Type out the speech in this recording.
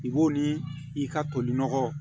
I b'o ni i ka toli nɔgɔ